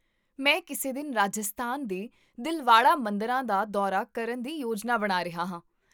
ਮੈਂ ਕਿਸੇ ਦਿਨ ਰਾਜਸਥਾਨ ਦੇ ਦਿਲਵਾੜਾ ਮੰਦਰਾਂ ਦਾ ਦੌਰਾ ਕਰਨ ਦੀ ਯੋਜਨਾ ਬਣਾ ਰਿਹਾ ਹਾਂ